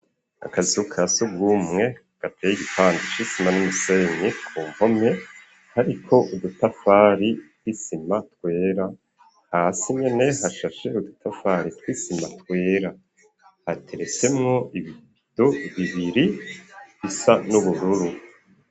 Akazu kasugumwe gateye igipande c'isima n'umusenyi ku mpome ariko udutafari tw'isima twera hasi nyene hashashe udutafari tw'isima twera hateresemwo ibido bibiri bisa n'ubururu